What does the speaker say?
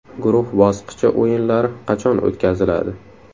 Guruh bosqichi o‘yinlari qachon o‘tkaziladi?